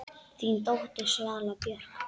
Þín dóttir, Svala Björk.